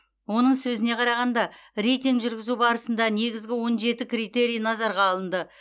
оның сөзіне қарағанда рейтинг жүргізу барысында негізгі он жеті критерий назарға алынды